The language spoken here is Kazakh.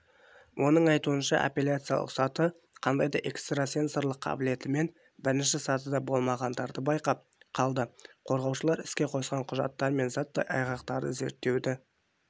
оның айтуынша апелляциялық саты қандай да экстрасенсорлық қабілетімен бірінші сатыда болмағандарды байқап қалды қорғаушылар іске қосқан құжаттар мен заттай айғақтарды зерттеуді